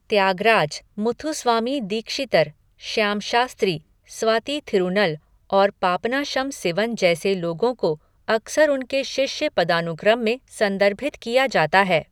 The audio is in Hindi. त्यागराज, मुथुस्वामी दीक्षितर, श्याम शास्त्री, स्वाति थिरूनल और पापनाशम सिवन जैसे लोगों को अक्सर उनके शिष्य पदानुक्रम में संदर्भित किया जाता है।